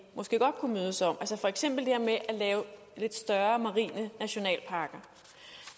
måske godt kunne mødes om altså for eksempel det her med at lave lidt større marine nationalparker